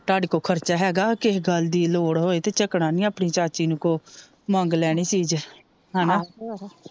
ਤਾਡੇ ਕੋਲ ਖਰਚਾ ਹੈਗਾ ਕਿਸੇ ਗੱਲ ਦੀ ਲੋੜ ਹੋਏ ਤੇ ਝਕਣਾ ਨੀ ਆਪਣੀ ਚਾਚੀ ਨੂੰ ਕੋਂ ਮੰਗ ਲੈਣੀ ਚੀਜ ਹਣਾ